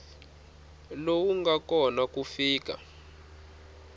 lowu nga kona ku fika